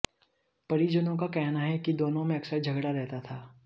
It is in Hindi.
परिजनों का कहना है कि दोनों में अकसर झगड़ा रहता था